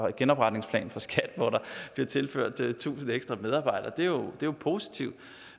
en genopretningsplan for skat hvor der bliver tilført tusind ekstra medarbejdere det er jo positivt